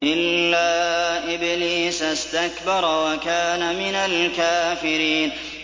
إِلَّا إِبْلِيسَ اسْتَكْبَرَ وَكَانَ مِنَ الْكَافِرِينَ